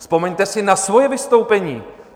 Vzpomeňte si na svoje vystoupení!